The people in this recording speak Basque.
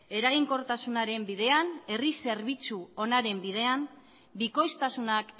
eraginkortasunaren bidean herri zerbitzu onaren bidean bikoiztasunak